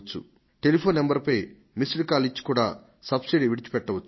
telephone నంబరుకు missed call ఇచ్చి కూడా సబ్సిడీని విడిచిపెట్టవచ్చు